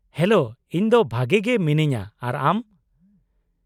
Hello, ᱤᱧ ᱫᱚ ᱵᱷᱟᱜᱮ ᱜᱮ ᱢᱤᱱᱟ.ᱧᱟ ᱟᱨ ᱟᱢ ?